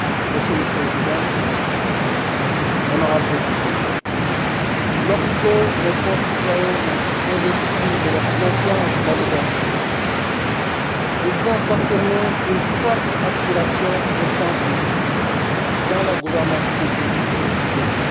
Monsieur le Président, honorables députés, lorsque mes concitoyens m'ont investi de leur confiance l'année dernière, ils ont affirmé une forte aspiration au changement dans la gouvernance publique du pays.